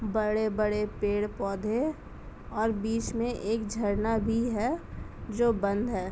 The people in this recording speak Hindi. बड़े-बड़े पेड़ पौधे और बीच में एक झरना भी है जो बंद हैं।